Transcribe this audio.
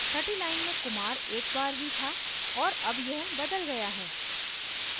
छठी line में kumar एक बार ही था और अब यह बदला गया है